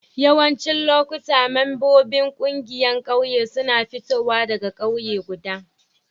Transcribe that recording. Yawancin lokuta membobin kungiyar ƙauye suna fitowa daga kauye guda.